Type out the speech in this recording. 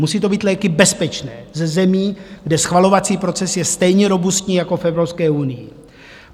Musí to být léky bezpečné, ze zemí, kde schvalovací proces je stejně robustní jako v Evropské unii.